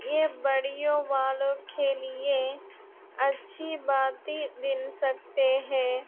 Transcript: ये बड़ियों वालों खे लिए अच्छी बातें दिन सकते हैं।